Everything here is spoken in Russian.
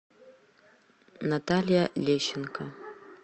наталья лещенко